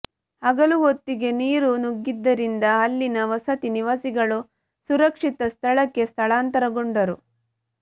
ಹಗಲು ಹೊತ್ತಿಗೆ ನೀರು ನುಗ್ಗಿದ್ದರಿಂದ ಅಲ್ಲಿನ ವಸತಿ ನಿವಾಸಿಗಳು ಸುರಕ್ಷಿತ ಸ್ಥಳಕ್ಕೆ ಸ್ಥಳಾಂತರಗೊಂಡರು